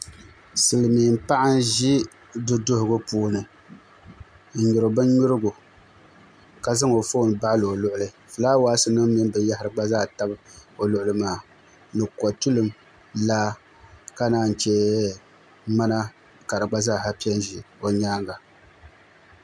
Silmiin paɣa n ʒi du duɣugu puuni n nyuri bin nyurigu ka zaŋ o foon baɣali o luɣuli fulaawaasi nim mini binyahari gba zaa tam o luɣuli maa ni kotulim laa ka naan chɛ ŋmana ka di gba zaa pɛ n ʒi o nyaanŋa